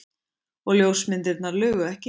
Og ljósmyndirnar lugu ekki.